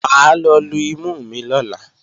Mà á lọ lu imú mi lọ́la